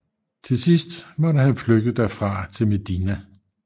Til sidst måtte han flygte derfra til Medina